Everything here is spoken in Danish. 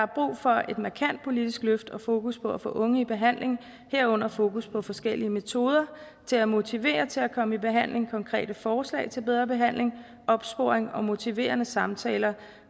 brug for et markant politisk løft og fokus på at få unge i behandling herunder fokus på forskellige metoder til at motivere til at komme i behandling konkrete forslag til bedre behandling opsporing og motiverende samtaler